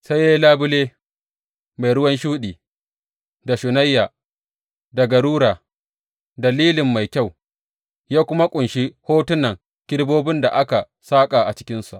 Sai ya yi labule mai ruwan shuɗi, da shunayya, da garura, da lilin mai kyau, ya kuma ƙunshi hotunan kerubobin da aka saƙa a cikinsa.